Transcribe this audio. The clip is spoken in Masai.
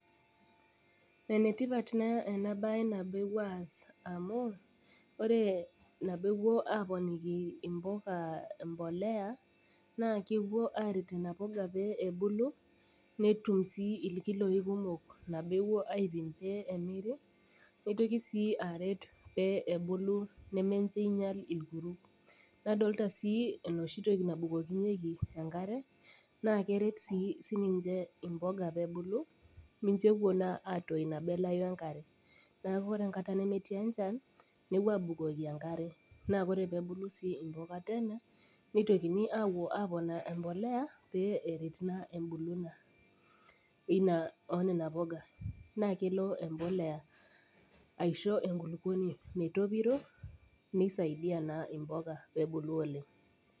Enetipat na enabae ana pepuoi aas amu ore nabo epuoi aponiki mpuka mbolea nakepuo arik nona puka metaaebulu netum si kumok nitoki si abulu metaa ninche nadolita si enoshi toki nabukokinyeki enkare na keret si sininiche mpuka pebulu micho epuo alau nona puka enkare neakuore enkata nemetii enchan nepuoi abukoki enkare nebukokini, nitokini apuo aponaa empolea pe eret na embulunoto onona puka na kelo empolea aitobi enkulukuoni metopito nisaidia na mpuka pebulu oleng.